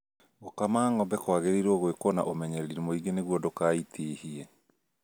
Gũkama ng'ombe kwagĩrĩirwo gwĩko na ũmenyereri mũingĩ nĩguo ndũkaitihie